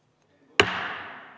V a h e a e g